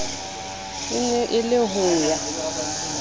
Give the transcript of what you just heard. e ne e le hoya